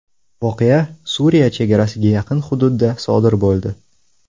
Voqea Suriya chegarasiga yaqin hududda sodir bo‘ldi.